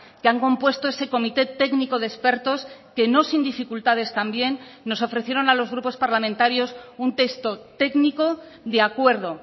que han compuesto ese comité técnico de expertos que nos sin dificultades también nos ofrecieron a los grupos parlamentarios un texto técnico de acuerdo